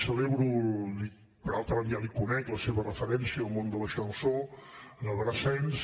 celebro per altra banda ja l’hi conec la seva referència al món de la chanson a brassens